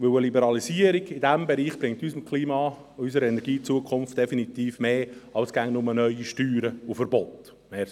Denn eine Liberalisierung in diesem Bereich bringt unserem Klima und unserer Energiezukunft definitiv mehr als immer nur neue Steuern und Verbote.